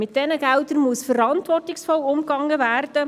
Mit diesen Geldern muss man verantwortungsvoll umgehen.